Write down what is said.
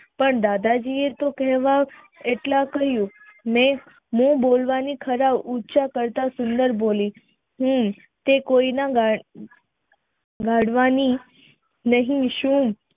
પણ દાદાજી એ તો એટલા કહ્યું મેં બોલવાની ખરા ઉંચા કરતા સુંદર બોલી હમ તે કોઈ નડવાની નહિ સુ